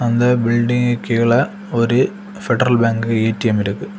இந்த பில்டிங்க்கு கீழ ஒரு பெடரல் பேங்க் ஏ_டி_எம் இருக்கு.